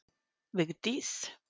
Vigdís